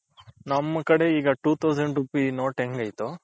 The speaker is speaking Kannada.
ನಮ್ ಕಡೆ ಈಗ two thousand rupees note ಹೆಂಗೈತೋ.